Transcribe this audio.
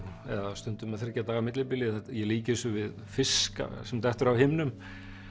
eða stundum með þriggja daga millibili ég líki þessu við fisk sem dettur af himnum